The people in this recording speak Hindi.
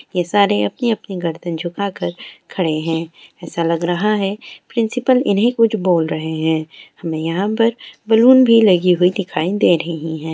ये सारे अपनी अपनी गर्दन झुकाकर खड़े है ऐसा लग रहा है प्रिंसिपल इन्हें कुछ बोल रहें है हमें यहाँ पर बलून भी लगी हुई दखाई दे रही है।